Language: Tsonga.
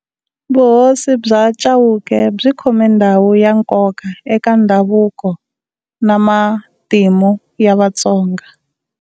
Vuhosi bya Chauke byi khome ndhawu ya nkoka eka ndhavuko na matimu ya Vatsonga.